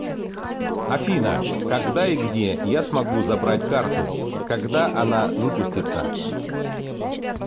афина когда и где я смогу забрать карту когда она выпустится